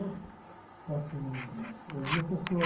Então, assim, eu via a pessoa...